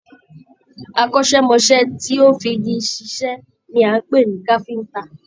Akọ́sẹmọ́sẹ́ tó fí igi ṣiṣẹ ní a lè pe ní káfíntà.